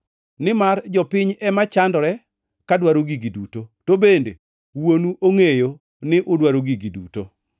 Nimar jopiny ema chandore ka dwaro gigi duto, to bende Wuonu ongʼeyo ni udwaro gigi duto.